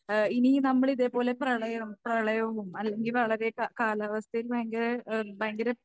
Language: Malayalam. ഏഹ് ഇനി നമ്മൾ ഇതേപോലെ പ്രളയം പ്രളയവും അല്ലെങ്കിൽ വളരെ കാ കാലാവസ്ഥയിൽ ഭയങ്കര ഏഹ് ഭയങ്കര